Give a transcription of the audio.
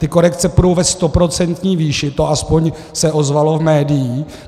Ty korekce půjdou ve stoprocentní výši, to aspoň se ozvalo z médií.